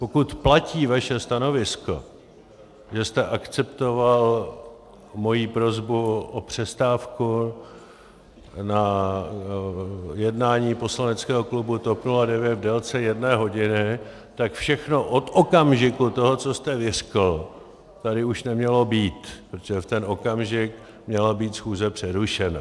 Pokud platí vaše stanovisko, že jste akceptoval moji prosbu o přestávku na jednání poslaneckého klubu TOP 09 v délce jedné hodiny, tak všechno od okamžiku toho, co jste vyřkl, tady už nemělo být, protože v ten okamžik měla být schůze přerušena.